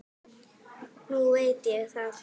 Nú veit ég það.